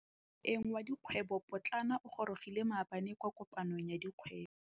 Moêng wa dikgwêbô pôtlana o gorogile maabane kwa kopanong ya dikgwêbô.